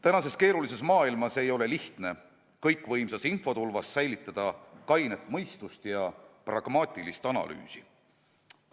Praeguses keerulises maailmas ei ole lihtne kõikvõimsas infotulvas säilitada kainet mõistust ja pragmaatilise analüüsi võimet.